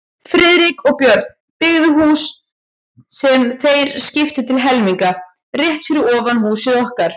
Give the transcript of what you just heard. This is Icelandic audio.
Friðrik og Björn, byggðu hús, sem þeir skiptu til helminga, rétt fyrir ofan húsið okkar.